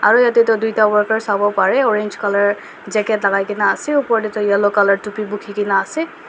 Aro yatheh toh duida workers savo parey orange colour jacket lagaikena ase aro opor dae toh yellow colour topi bhukhikena ase.